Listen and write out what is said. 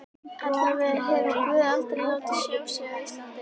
Allavega hefur guð aldrei látið sjá sig á Íslandi.